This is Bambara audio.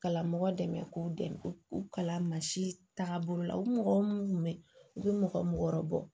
Kalan mɔgɔ dɛmɛ k'u dɛmɛ k'u kalan mansin tagabolo la u mɔgɔ minnu tun bɛ u bɛ mɔgɔ mɔgɔ wɔrɔ bɔ